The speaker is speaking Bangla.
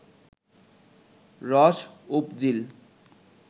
রস উপজিল